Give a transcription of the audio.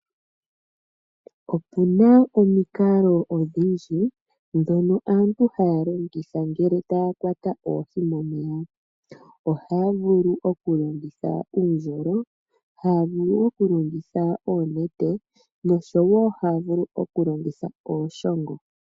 Opuna omikalo odhindji ndhono aantu haya longitha uuna taya kwata/ yuula oohi momeya . Ohaya vulu oku longitha uundjolo, ohaya vulu oku longitha oonete yo ohaya vulu wo oku longitha ooshongo.